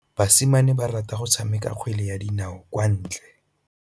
Basimane ba rata go tshameka kgwele ya dinaô kwa ntle.